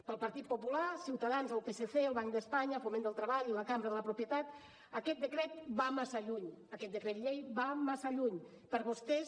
pel partit popular ciutadans el psc el banc d’espanya foment del treball i la cambra de la propietat aquest decret va massa lluny aquest decret llei va massa lluny per vostès